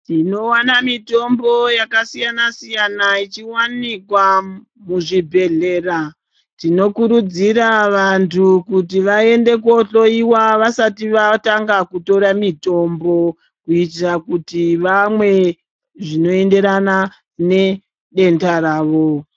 Tinoona mitombo yakasiyana siyana ichiwanikwa muzvibhedhlera tinokurudzirwa kuti vantu vaende kunohloyiwa vasati vatanga kutora mitombo kuitira kuti vamwe zvinoenderana nedenda ravo .